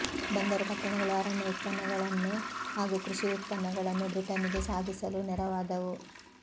ಬಂದರು ಪಟ್ಟಣಗಳು ಅರಣ್ಯ ಉತ್ಪನ್ನಗಳನ್ನು ಹಾಗೂ ಕೃಷಿ ಉತ್ಪನ್ನಗಳನ್ನು ಬ್ರಿಟನ್ನಿಗೆ ಸಾಗಿಸಲು ನೆರವಾದವು